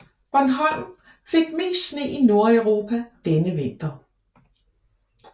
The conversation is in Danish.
Bornholm fik mest sne i Nordeuropa denne vinter